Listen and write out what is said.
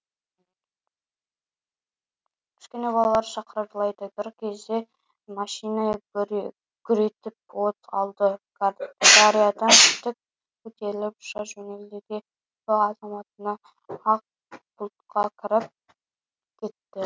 кішкене балалары шырқырап жылайды бір кезде машине гүр етіп от алды дариядан тік көтеріліп ұша жөнелді де сол заматында ақ бұлтқа кіріп кетті